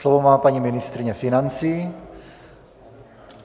Slovo má paní ministryně financí.